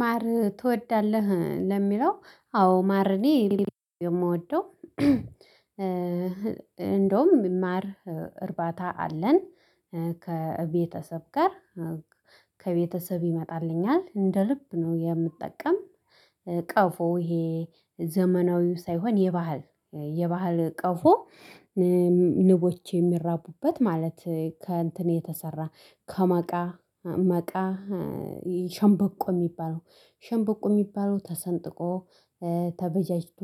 ማር ትወዳለህ ለሚለው አዎ ማር እኔ የምወደው እንደውም ማር እርባታ አለን። ከቤተሰብ ጋር ከቤተሰብ ይመጣልኛል እንደ ልብ ነው የምጠቀም ቀፎ ይሄ ዘመናዊው ሳይሆን የባህል የባህል ቀፎ ንቦች የሚራቡበት ማለት ከእንትን የተሰራ ከመቃ መቃ ይህ ሸንበቆ የሚባለው ሸንበቆ የሚባለው ተሰንጥቆ ተበጃጅቶ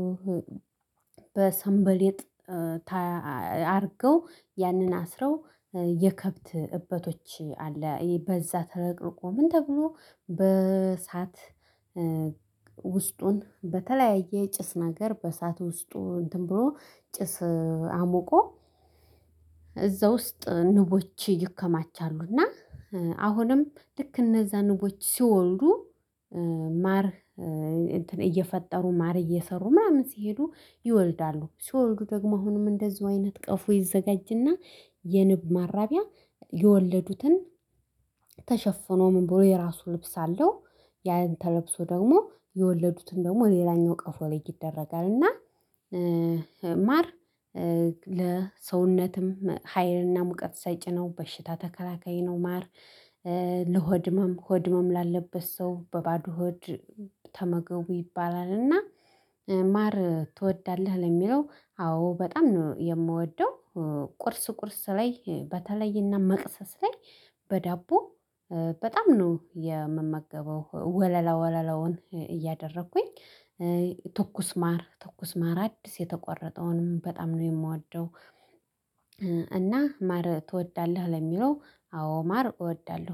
በሰንበሌጥ አድርገው ያንን አስረው የከብት እበቶች አለ እይ በዛ ተለቅልቆ ምን ተብሎ በእሳት ውስጡን በተለያየ ጭስ ነገር በእሳት ውስጡ እንትን ብሎ ጭስ አሞቆ እዛ ውስጥ ንቦች ይከማቻሉና አሁንም ልክ እነዛ ንቦች ሲወልዱ ማር እንትን እየፈጠሩ ማር እየሰሩ ምናምን ሲሄዱ ይወልዳሉ ሲወልዱ ደግሞ አሁንም እንደዚሁ አይነት ቀፎ ይዘጋጅና የንብ ማራቢያ የወለዱትን ምን ብሎ የራሱ ልብስ አለው ያን ተለብሶ ደግሞ የወለዱትን ደግሞ ሌላኛው ቀፎ ላይ ይደረጋል እና ማር ለሰውነትም ሀይልና ሙቀት ሰጭ ነው በሽታ ተከላካይ ነው ማር ለሆድ ህመም ሆድ ህመም ላለበት ሰው በባዶ ሆድ ተመገቡ ይባላልና ማር ትወዳለህ ለሚለው አዎ በጣም ነው የምወደው ቁርስ ቁርስ ላይ በተለይና መቅሰስ ላይ በዳቦ በጣም ነው የምመገበው ወለላ ወለላውን እያደረኩኝ ትኩስ ማር ትኩስ ማር አዲስ የተቆረጠውንም በጣም ነው የምወደው እና ማር ትወዳለህ ለሚለው አዎ ማር እወዳለሁ